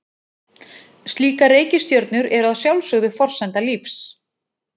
Slíkar reikistjörnur eru að sjálfsögðu forsenda lífs.